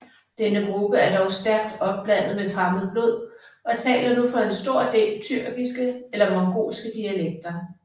Denne gruppe er dog stærkt opblandet med fremmed blod og taler nu for en stor del tyrkiske eller mongolske dialekter